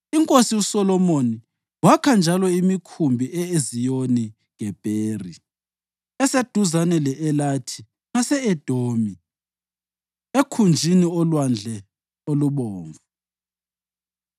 INkosi uSolomoni wakha njalo imikhumbi e-Eziyoni-Gebheri, eseduzane le-Elathi ngase-Edomi, ekhunjini loLwandle oluBomvu.